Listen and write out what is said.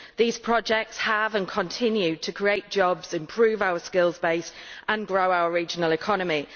These projects have created and continue to create jobs, improve our skills base and grow our regional economy.